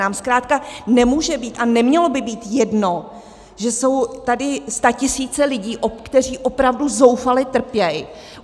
Nám zkrátka nemůže být a nemělo by být jedno, že jsou tady statisíce lidí, kteří opravdu zoufale trpí.